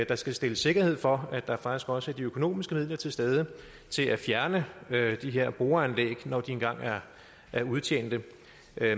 der skal stilles sikkerhed for at der faktisk også er de økonomiske midler til stede til at fjerne de her boreanlæg når de engang er er udtjente